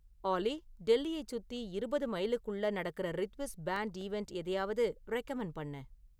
ஆல்லி டெல்லியைச் சுத்தி இருவது மைலுக்குள்ள நடக்குற ரித்விஸ் பேண்டு ஈவண்ட் எதையாவது ரெகமண்ட் பண்ணு